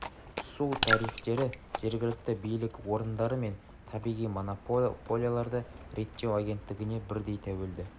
су тарифтері жергілікті билік орындары мен табиғи монополияларды реттеу агенттігіне бірдей туелді